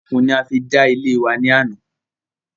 Okùn ni a fi dá ilẹ̀ wa ní àná